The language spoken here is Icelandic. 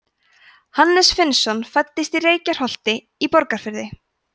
hannes finnsson fæddist í reykholti í borgarfirði